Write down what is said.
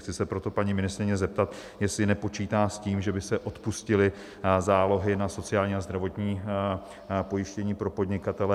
Chci se proto paní ministryně zeptat, jestli nepočítá s tím, že by se odpustily zálohy na sociální a zdravotní pojištění pro podnikatele.